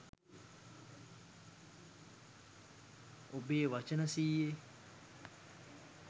ඔබේ වචන සියයේ